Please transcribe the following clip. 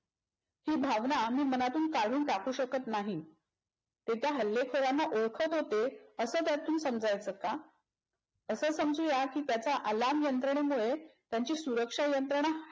ही भावना मी मनातून काढू टाकू शकत नाही. ते त्या हल्लेखोरांना ओळखत होते अस त्यातून समजायच का? अस समजूया की त्याचा alarm यंत्रणेमुळे त्याची सुरक्षा यंत्रणा